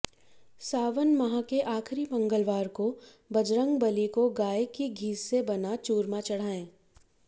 सावन माह के आखिरी मंगलवार को बजरंगबाली को गाय के घी से बना चूरमा चढ़ाएं